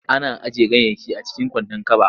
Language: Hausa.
Ana ajiye ganyayyaki a cikin kwandon kaba.